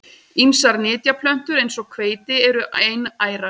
Ýmsar nytjaplöntur eins og hveiti eru einærar.